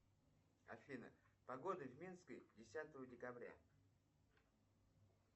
афина погода в минске десятого декабря